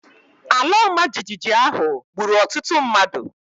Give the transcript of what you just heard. Ala ọmajiji ahụ gburu ọtụtụ mmadụ.